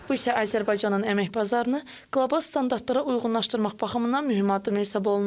Bu isə Azərbaycanın əmək bazarını qlobal standartlara uyğunlaşdırmaq baxımından mühüm addım hesab olunur.